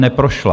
Neprošla.